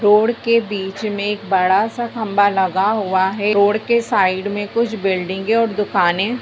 Road के बीच में एक बड़ा सा खम्बा लगा हुआ है। रोड के साइड में कुछ बिल्डिंगें और दुकानें--